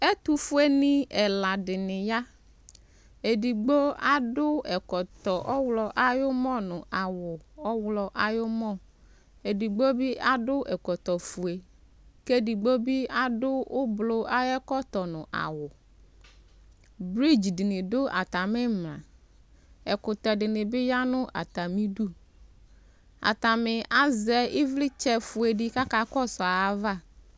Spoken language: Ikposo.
Ɛtʋfuenɩ ɛla dɩnɩ ya Edigbo adʋ ɛkɔtɔ ɔɣlɔ ayʋ ʋmɔ nʋ awʋ ɔɣlɔ ayʋ ʋmɔ Edigbo bɩ adʋ ɛkɔtɔfue kʋ edigbo bɩ adʋ ʋblʋ ayʋ ɛkɔtɔ nʋ awʋ Bridz dɩnɩ dʋ atamɩ ɩmla Ɛkʋtɛ dɩnɩ bɩ ya nʋ atamɩdu Atanɩ azɛ ɩvlɩtsɛfue dɩ kʋ akakɔsʋ ayava